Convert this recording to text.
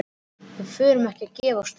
Við förum ekkert að gefast upp.